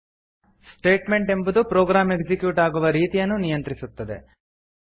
statement ಎಂಬುದು program execute ಆಗುವ ರೀತಿಯನ್ನು ನಿಯಂತ್ರಿಸುತ್ತದೆ